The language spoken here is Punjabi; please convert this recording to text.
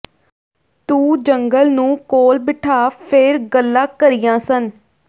ਤੂੰ ਜੰਗਲ ਨੂੰ ਕੋਲ ਬਿਠਾ ਫਿਰ ਗੱਲਾਂ ਕਰੀਆਂ ਸਨ